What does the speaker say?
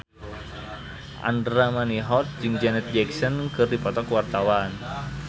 Andra Manihot jeung Janet Jackson keur dipoto ku wartawan